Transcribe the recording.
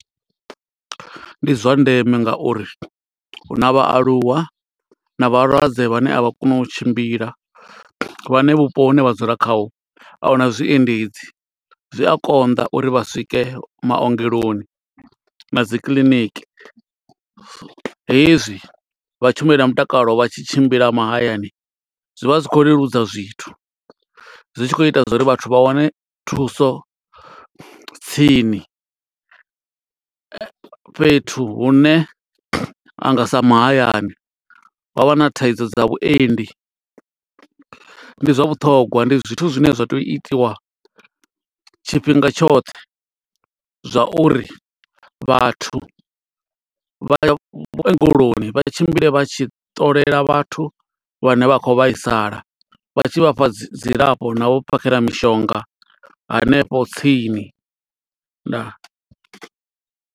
Ndi zwa ndeme ngauri hu na vhaaluwa na vhalwadze vhane a vha koni u tshimbila. Vhane vhupo hune vha dzula khaho, a hu na zwiendedzi. Zwi a konḓa uri vha swike maongeloni na dzi kiḽiniki. Hezwi vha tshimbila na mutakalo vha tshi tshimbila mahayani, zwi vha zwi khou leludza zwithu. Zwi tshi khou ita zwa uri vhathu vha wane thuso tsini. Fhethu hune ha nga sa mahayani ha vha na thaidzo dza vhuendi. ndi zwa vhuṱhogwa ndi zwithu zwine zwa tea u itiwa tshifhinga tshoṱhe, zwa uri vhathu vha vhungeloni vha tshimbile vha tshi ṱolela vhathu vhane vha khou vhaisala. Vha tshi vha fha dzi dzilafho na u vha phakhela mishonga hanefho tsini. Ndaa.